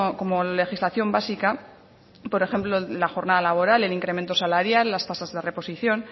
como legislación básica por ejemplo la jornada laboral el incremento salarial las tasas de reposición